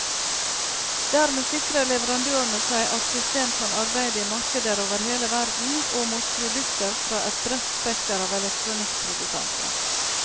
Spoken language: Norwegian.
Dermed sikrer leverandørene seg at system kan arbeide i markeder over hele verden, og mot produkter fra et bredt spekter av elektronikkprodusenter.